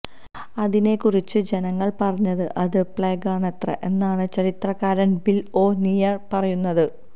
അതിനെകുറിച്ച് ജനങ്ങൾ പറഞ്ഞത് അത് പ്ലേഗാണത്രേ എന്നാണ് ചരിത്രകാരൻ ബിൽ ഓ നിയൽ പറയുന്നത്